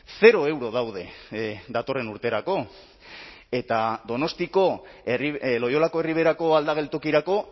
zero euro daude datorren urterako eta donostiako loiolako erriberako aldageltokirako